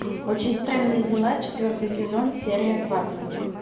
очень странные дела четвертый сезон серия двадцать